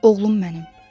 Oğlum mənim.